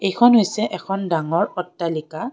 এইখন হৈছে এখন ডাঙৰ অট্টালিকা।